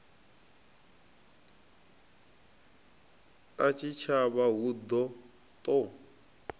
a tshitshavha hu ḓo ṱo